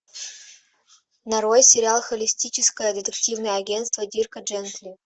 нарой сериал холистическое детективное агентство дирка джентли